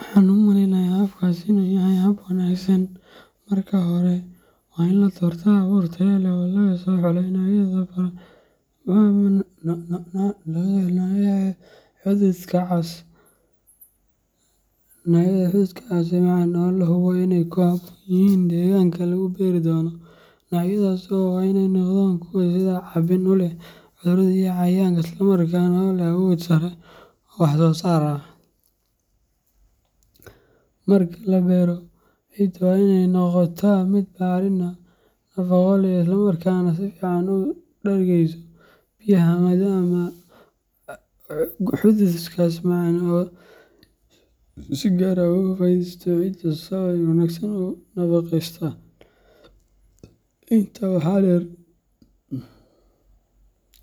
Waxan u maleynaya xabkas inu yahay hab wanagsan, Marka hore, waa in la doortaa abuur tayo leh oo laga soo xulay noocyada hadhukas macaan ee la hubo inay ku habboon yihiin deegaanka la beeri doono. Noocyadaasi waa in ay noqdaan kuwo iska caabin u leh cudurrada iyo cayayaanka, isla markaana leh awood sare oo wax soo saar ah. Marka la beero, ciidda waa inay noqotaa mid bacrin ah, nafaqo leh, isla markaana si fiican u dhergeyso biyaha, maadaama baradhada macaan ay si gaar ah uga faa’iideysato ciidda sabo ah oo si wanaagsan u nafaqeysan.